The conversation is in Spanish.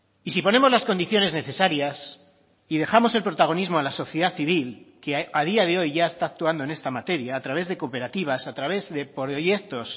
y si ponemos las condiciones necesarias y dejamos el protagonismo a la sociedad civil que a día de hoy ya está actuando en esta materia a través de cooperativas a través de proyectos